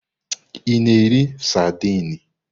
Ị na-eri saidini?